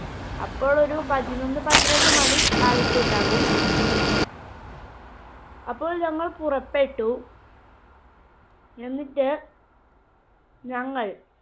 അപ്പോൾ ഒരു പതിനൊന്ന് പന്ത്രണ്ട് മണി ആയിട്ടുണ്ടാകും. അപ്പോൾ ഞങ്ങൾ പുറപ്പെട്ടു. എന്നിട്ട് ഞങ്ങൾ